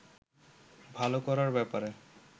ভালো করার ব্যাপারে